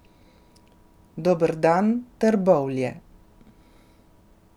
Dober dan, Trbovlje.